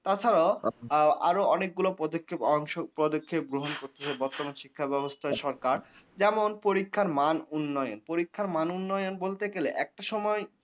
তাছাড়াও আচ্ছা আ আরো অনেকগুলো পদক্ষেপ অংশ পদক্ষেপ গ্রহণ করছে বর্তমান শিক্ষা ব্যাবস্থা আচ্ছা কারসার, যেমন পরীক্ষার মান উন্নয়ন। পরীক্ষার মান উন্নয়ন বলতে গেলে একটা সময়